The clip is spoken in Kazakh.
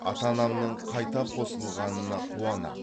ата анамның қайта қосылғанына қуанам